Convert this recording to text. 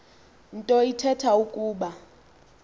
nto ithetha ukuba